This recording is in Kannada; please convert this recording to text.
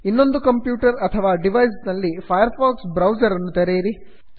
ಇನ್ನೊಂದು ಕಂಪ್ಯೂಟರ್ ಅಥವಾ ಡಿವೈಸ್ ನಲ್ಲಿ ಫೈರ್ ಫಾಕ್ಸ್ ಬ್ರೌಸರ್ ಅನ್ನು ತೆರೆಯಿರಿ